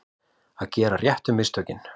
Að gera réttu mistökin